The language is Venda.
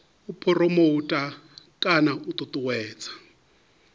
u phuromotha kana u ṱuṱuwedza